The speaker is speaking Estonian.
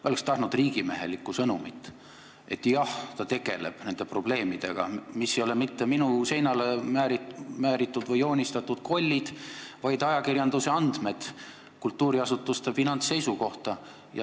Ma oleks tahtnud riigimehelikku sõnumit, et jah, ta tegeleb nende probleemidega, mis ei ole mitte minu seinale määritud või joonistatud kollid, vaid need on ajakirjanduse andmed kultuuriasutuste finantsseisu kohta.